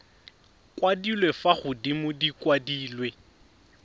kwadilwe fa godimo di kwadilwe